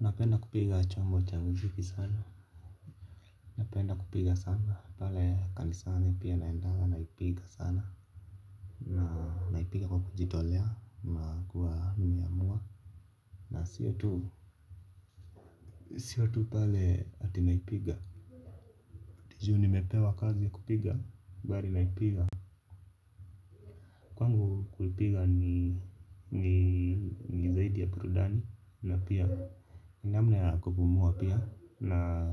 Napenda kupiga chombo cha muziki sana napenda kupiga sana pale kanisani pia naendanga naipiga sana. Na naipiga kwa kuji tolea na kuwa nimeamua. Na siyo tu na sio tu pale ati naipiga juu nimepewa kazi kupiga bali naipiga, kwangu kuipiga ni ni zaidi ya burudani na pia ni namna na kupumua pia. Na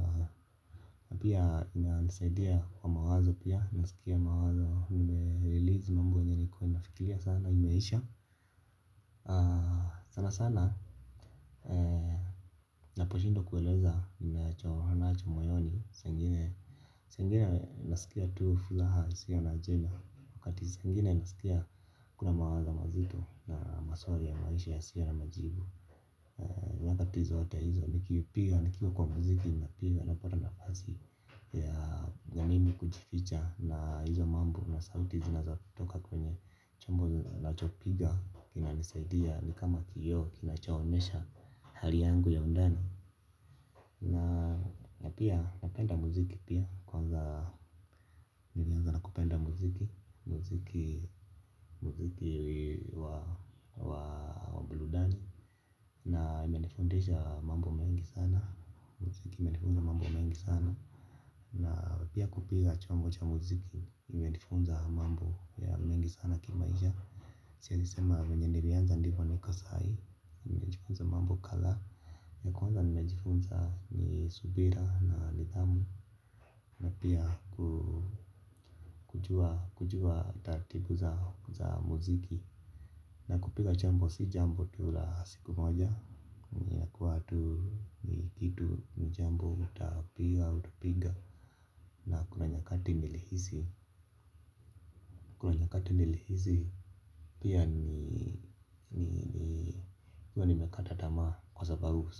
pia inanisaidia kwa mawazo pia, nasikia mawazo, nime-release mambo yenye nlikua nafikiria sana, imeisha. Sana sana, naposhindwa kueleza, ninacho nacho moyoni, saa zingine nasikia tu furaha, hisia na ajenda, wakati zengine nasikia kuna mawazo mazito na maswali ya maisha, yasio na majibu wakati zote hizo nikipiga nikiwa kwa muziki napiga napata nafasi ya mimi kujificha na hizo mambo na sauti zinazotoka kwenye chombo ninacho piga kina nisaidia ni kama kioo kinachoonyesha hali yangu ya undani. Na pia napenda muziki pia kwanza nilianza na kupenda muziki muziki muziki wa burudani. Na imenifundisha mambo mengi sana muziki imenifunza mambo mengi sana. Na pia kupiga chombo cha muziki imenifunza mambo ya mengi sana kimaisha. Siwezi sema venye nilianza ndivyo niko sahi. Imenifunza mambo kadha. Ya kwanza nimejifunza ni subira na nidamu. Na pia kujua kujua taratibu za muziki. Na kupiga chombo si jambo tu la siku moja ni yakuwa tu ni kitu ni jambo tutapiga utapiga na kuna nyakati nili hisi kuna nyakati nilihisi pia kuwa nimekataa tamaa kwa sababu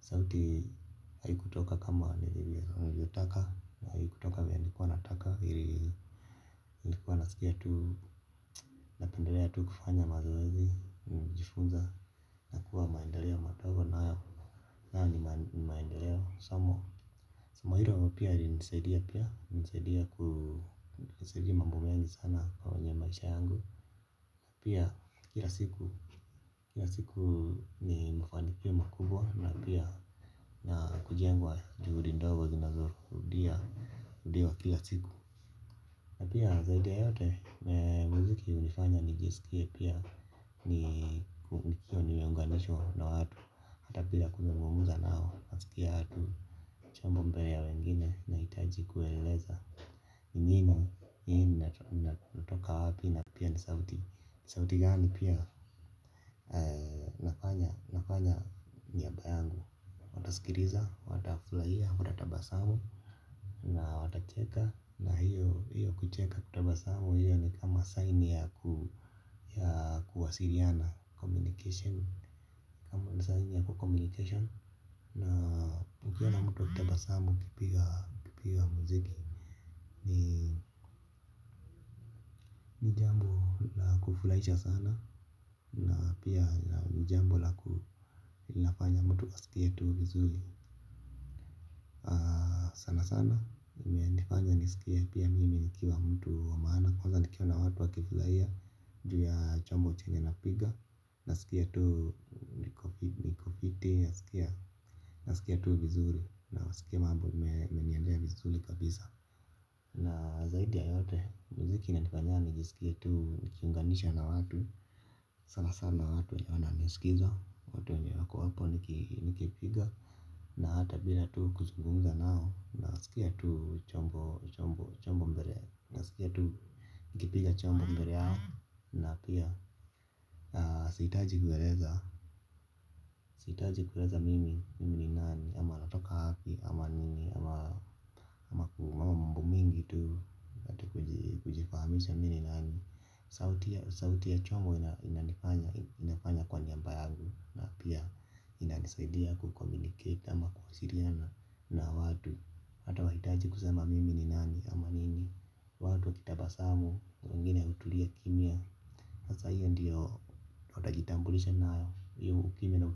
sauti haikutoka kama nilivyotaka haikutoka venye nlikua nataka, nilikua nasikia tu pendelea tu kufanya mazoezi najifunza na kuwa maendeleo madogo na hayo ni maendeleo somo hilo pia lilinisaidia pia, lilinisaidia ku saidia mambo mengi sana kwenye maisha yangu. Pia kila siku kila siku ni mfano pia makubwa na pia na kujengwa juhudi ndogo zinazo rudia rudiwa kila siku. Na pia zaidi ya yote, muziki hunifanya nijisikie pia ni kuvukio nimeunganishwa na watu kabla ya kuzungumza nao, nasikia tu acha mambo ya wengine na hitaji kueleza. Nini natoka wapi na pia ni sauti sauti gani pia. Nafanya miaka yangu. Watasikiliza watafurahia wata tabasamu. Na watacheka na hiyo kucheka kutabasamu hiyo ni kama saini ya ku ya kuwasiliana Communication. Kama saihi ni ya ku communication. Na ukiwa na mtu akitabasamu ukipiga hio. Ni jambo la kufurahisha sana na pia ni jambo laku linafanya mtu asikie tu vizuri sana sana nifanya nisikia pia mimi nikiwa mtu wa maana kwanza nikiona watu wakivuzaia juu ya chombo chenye na piga na sikia tu iko fiti nasikia tu vizuri na sikia mambo imeniendea vizuri kabisa na zaidi ya yote muziki inaninifanya nijisikie tu nikiunganisha na watu. Sana sana watu wanao sikiza watu wenye wako hapo nikipiga. Na hata bila tu kuzungumza nao na sikia tu chombo chombo chombo mbele. Na sikia tu. Nikipiga chombo mbele yao na pia sihitaji kueleza. Sihitaji kueleza mimi mimi ni nani ama natoka wapi ama nini ama makuu ama mambo mengi tu. Kujifahamisha mimi ni nani. Sauti ya chongo inanifanya inafanya kwa niaba yangu na pia inanisaidia ku communicate ama kuwasiliana na watu ata wahitaji kusema mimi ni nani ama nini. Watu wa kutabasamu, wengine wametulia kimya. Masaa hiyo ndiyo utajitambulisha na hiyo ukimya na.